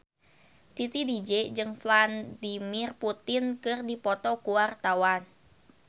Titi DJ jeung Vladimir Putin keur dipoto ku wartawan